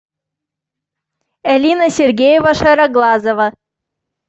элина сергеева шароглазова